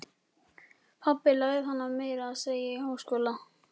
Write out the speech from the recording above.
Pabbi lærði hana meira að segja í háskóla.